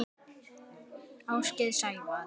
Ásgeir Sævar.